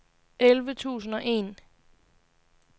elleve tusind og en